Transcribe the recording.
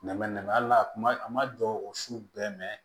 Nɛmɛ nɛmɛ hali n'a kuma a ma dɔgɔ o su bɛɛ mɛ